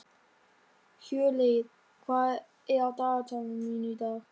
Hjörleif, hvað er á dagatalinu mínu í dag?